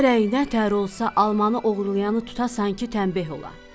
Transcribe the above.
Gərək nətər olsa almanı oğurlayanı tutasan ki, təmbəh ola.